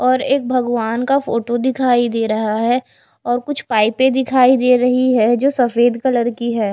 और एक भगवान का फोटो दिखाई दे रहा है और कुछ पाइपें दिखाई दे रही है जो सफेद कलर की है।